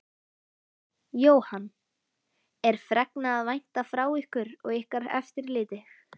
Jóhann: Er fregna að vænta frá ykkur og ykkar eftirliti?